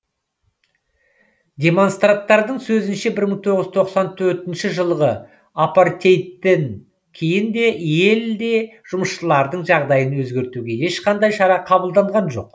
демонстранттардың сөзінше бір мың тоғыз жүз тоқсан төртінші жылғы апартеидтен кейін де елде жұмысшылардың жағдайын өзгертуге ешқандай шара қабылданған жоқ